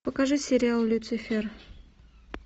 покажи сериал люцифер